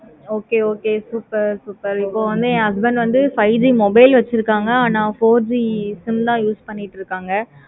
okay okay super super இப்ப வந்து என் husband வந்து five G mobile வச்சிருக்காங்க. four G sim தான் use பண்ணிக்கிட்டு இருக்காங்க